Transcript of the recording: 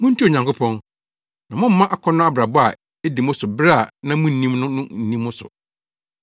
Muntie Onyankopɔn, na mommma akɔnnɔ abrabɔ a edii mo so bere a na munnim no no nni mo so.